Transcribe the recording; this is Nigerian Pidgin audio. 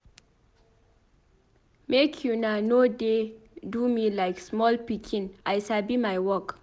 Make una no dey do me like small pikin I sabi my work.